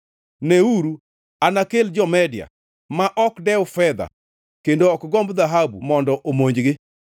Neuru, anakel jo-Media, ma ok dew fedha kendo ok gomb dhahabu mondo omonjgi.